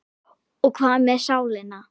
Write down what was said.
Og hvað með sálina?